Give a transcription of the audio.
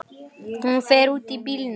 Hún fer út úr bílnum.